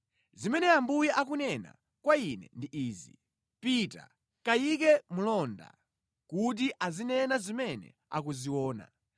Zimene Ambuye akunena kwa ine ndi izi; “Pita, kayike mlonda kuti azinena zimene akuziona.